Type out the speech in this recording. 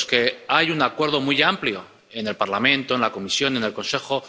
en los que hay un acuerdo muy amplio en el Parlamento, en la Comisión, en el Consejo.